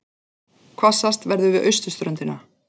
Hvassast verður við austurströndina